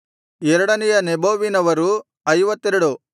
ಎರಡನೆಯ ನೆಬೋವಿನವರು 52